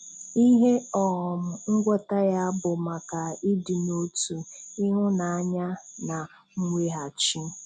Ihe um ngwọta ya bụ maka ịdị n'otu, ịhụnanya na mweghachi.